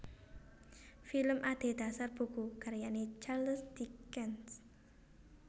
Film adhedhasar buku karyané Charles Dickens